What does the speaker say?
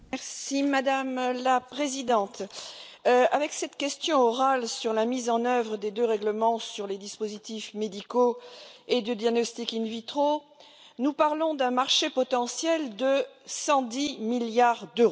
Madame la Présidente, avec cette question orale sur la mise en œuvre des deux règlements sur les dispositifs médicaux et de diagnostic in vitro, nous parlons d'un marché potentiel de 110 milliards d'euros.